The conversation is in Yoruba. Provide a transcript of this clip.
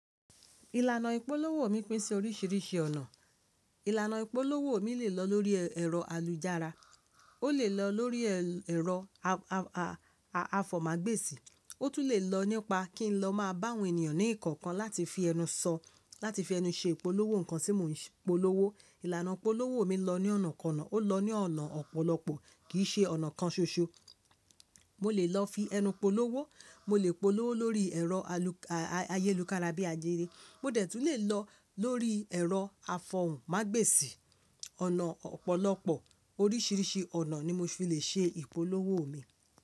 Ìlànà ìpolówó mi pín sí oríṣìíríṣìí ọ̀nà. Ìlànà ìpolówó mi lè lọ lórí ẹ̀rọ alujára, ó lè lọ lórí ẹ̀rọ àfòmàgbèsì, ó tún lè lọ nípa kí n lọ máa bá àwọn ènìyàn ní ìkọ̀kan láti fi ẹnu sọ, láti fi ẹnu ṣe ìpolówó nǹkan tí mò ń polówó. Ìlànà ìpolówó mi lọ ní ọ̀nàkọ̀nà, ó lọ ní ọ̀nà ọ̀pọ̀lọpọ̀ kì í ṣe ọ̀nà kan ṣoṣo. Mo lè lọ fi ẹnu polówó, mo lè polówó lórí ẹ̀rọ ayélukára bíi Ajere, mo dẹ̀ tún lè lọ lórí ẹ̀rọ afọ̀hùn mágbèsì, ọ̀nà ọ̀pọ̀lọpọ̀, oríṣìíríṣìí ọ̀nà ni mo fi le ṣe ìpolówó mi.